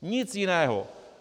Nic jiného.